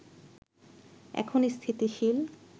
এখন স্থিতিশীল